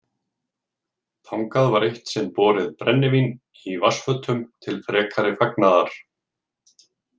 Þangað var eitt sinn borið brennivín í vatnsfötum til frekari fagnaðar.